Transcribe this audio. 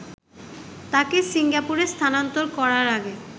তাকে সিঙ্গাপুরে স্থানান্তর করার আগে